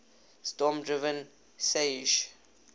storm driven seiches